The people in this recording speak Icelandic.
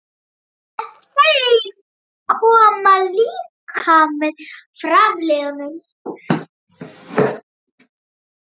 En þeir koma líka með framliðnum.